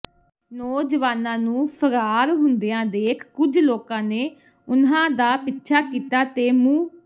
ਨੌਜਵਾਨਾਂ ਨੂੰ ਫ਼ਰਾਰ ਹੁੰਦਿਆਂ ਦੇਖ ਕੱੁਝ ਲੋਕਾਂ ਨੇ ਉਨ੍ਹਾਂ ਦਾ ਪਿੱਛਾ ਕੀਤਾ ਤੇ ਮੁ